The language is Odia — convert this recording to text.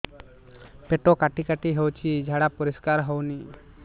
ପେଟ କାଟି କାଟି ହଉଚି ଝାଡା ପରିସ୍କାର ହଉନି